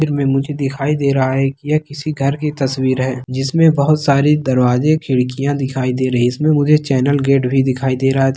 तस्वीर में मुझे दिखाई दे रहा है की यह किसी घर की तस्वीर है जिसमें बहुत सारी दरवाजे खिड़कियाँ दिखाई दे रही है इसमें मुझे चैनल गेट भी दिखाई दे रहा है।